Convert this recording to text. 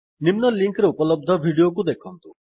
ନିମ୍ନ ଲିଙ୍କ୍ ରେ ଉପଲବ୍ଧ ଭିଡ଼ିଓକୁ ଦେଖନ୍ତୁ